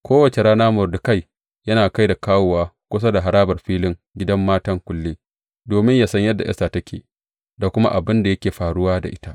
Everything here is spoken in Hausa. Kowace rana Mordekai yana kai da komowa kusa da harabar filin gidan matan kulle, domin ya san yadda Esta take, da kuma abin da yake faruwa da ita.